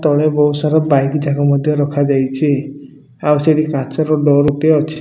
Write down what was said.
ତଳେ ବହୁତ ସାରା ବାଇକ୍ ଯାକ ମଧ୍ୟ ରଖା ଯାଇଛି ଆଉ ସେଠି କାଚର ଡୋର ଟିଏ ଅଛି।